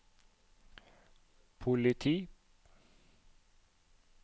politi